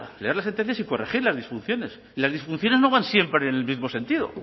leer las sentencias y corregir las disfunciones y las disfunciones no van siempre en el mismo sentido